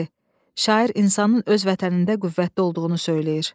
D. Şair insanın öz vətənində qüvvətli olduğunu söyləyir.